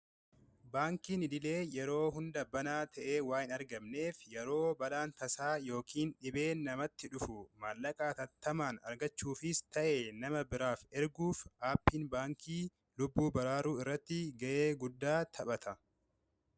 Baankiin idilee yeroo hunda banaa ta'ee waa hin argamneef yeroo balaan tasaa yookiin dhibeen namatti dhufu maallaqaa hatattamaan argachuufis ta'e nama biraaf erguuf aappiin baankii lubbuu baraaruu irratti ga'ee guddaa taphata.